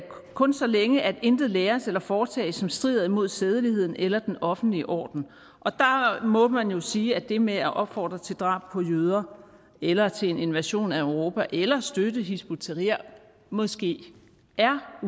kun så længe at intet læres eller foretages som strider mod sædeligheden eller den offentlige orden der må man jo sige at det med at opfordre til drab på jøder eller til en invasion af europa eller at støtte hizb ut tahrir måske er